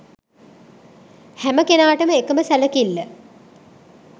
හැම කෙනාටම එකම සැලකිල්ල